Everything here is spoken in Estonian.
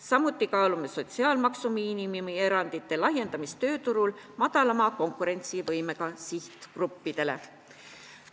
Samuti kaalume sotsiaalmaksu miinimumi erandite laiendamist madalama konkurentsivõimega sihtgruppidele tööturul.